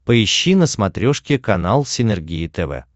поищи на смотрешке канал синергия тв